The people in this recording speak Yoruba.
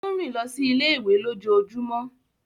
O n rìn lọ sí ilé-ìwé lójoojúmó.